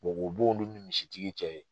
o b'olu ni misitigi cɛ ye.